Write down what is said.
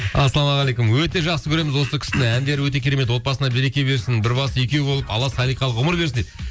ассалаумағалейкум өте жақсы көреміз осы кісіні әндері өте керемет отбасына береке берсін бір басы екеу болып алла салиқалы ғұмыр берсін дейді